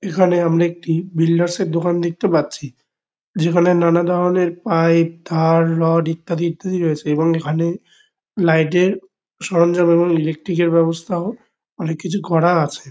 এখানে আমরা একটি বিল্ডার্স -এর দোকান দেখতে পাচ্ছি। যেখানে নানাধরণের পাইপ তার রড ইত্যাদি ইত্যাদি রয়েছে এবং এখানে লাইট -এর সরঞ্জাম এবং ইলেক্ট্রিক -এর ব্যবস্থাও অনেককিছু করা আছে।